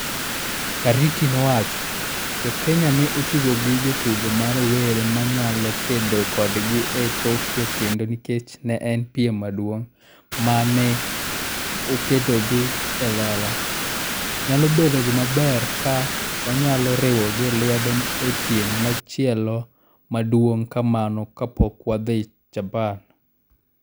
Kariuki nowachoni, "Jo Kenya ne otugo gi jotugo ma rowere ma ne nyalo kedo kodgi e Tokyo kendo nikech ne en piem maduong' ma ne oketogi e lela, nyalo bedo gima ber ka wanyalo riwogi lwedo e piem machielo ma duong' kamano kapok wadhi Japan".